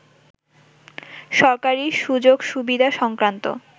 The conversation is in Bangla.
সরকারি সুযোগ-সুবিধা সংক্রান্ত